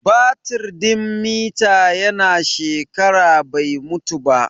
Batir din mita ya na shekara bai mutu ba